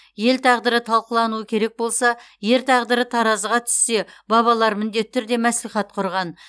ел тағдыры талқылануы керек болса ер тағдыры таразыға түссе бабалар міндетті түрде мәслихат құрған